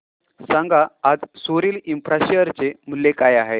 सांगा आज Sorril infra share चे मूल्य काय आहे